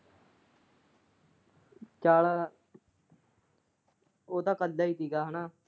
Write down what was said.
ਚਲ ਓਹ ਤਾਂ ਕੱਲਾ ਹੀ ਸੀਗਾ।